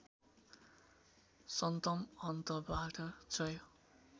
सन्तमहन्तबाट जय